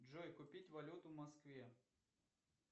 джой купить валюту в москве